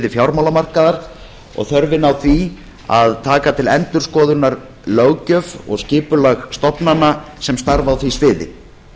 fjármálamarkaðar og þörfina á því að taka til endurskoðunar löggjöf og skipulag stofnana sem starfa á því sviði